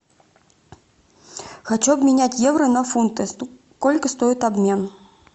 хочу обменять евро на фунты сколько стоит обмен